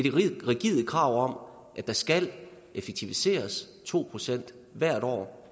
rigide krav om at der skal effektiviseres to procent hvert år